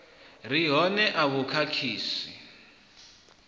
re hone a vhu khakhisi